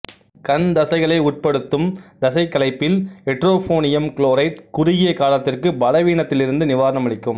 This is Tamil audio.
கண் தசைகளை உட்படுத்தும் தசைக் களைப்பில் எட்ரோஃபோனியம் க்ளோரைட் குறுகிய காலத்திற்கு பலவீனத்திலிருந்து நிவாரணம் அளிக்கும்